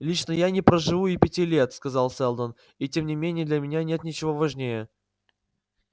лично я не проживу и пяти лет сказал сэлдон и тем не менее для меня нет ничего важнее